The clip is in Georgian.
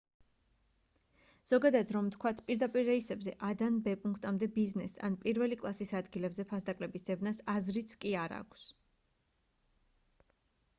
ზოგადად რომ ვთქვათ პირდაპირ რეისებზე a-დან b პუნქტამდე ბიზნეს ან პირველი კლასის ადგილებზე ფასდაკლების ძებნას აზრიც კი არ აქვს